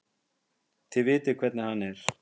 Þið vitið hvernig hann er.